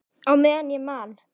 Á meðan ég man.